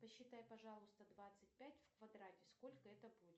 посчитай пожалуйста двадцать пять в квадрате сколько это будет